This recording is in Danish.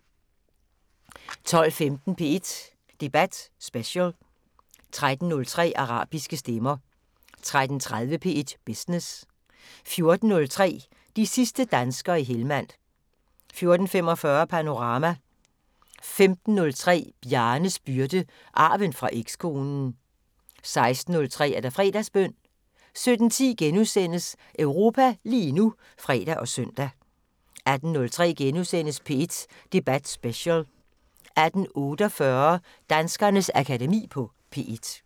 12:15: P1 Debat Special 13:03: Arabiske stemmer 13:30: P1 Business 14:03: De sidste danskere i Helmand 14:45: Panorama 15:03: Bjarnes byrde – arven fra ekskonen 16:03: Fredagsbøn 17:10: Europa lige nu *(fre og søn) 18:03: P1 Debat Special * 18:48: Danskernes Akademi på P1